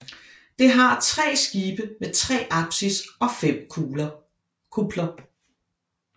Det har tre skibe med tre apsis og fem kupler